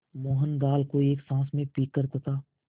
मोहन दाल को एक साँस में पीकर तथा